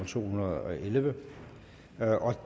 to hundrede og elleve